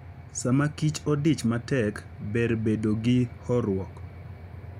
Sama kich odich matek, ber bedo gi horuok.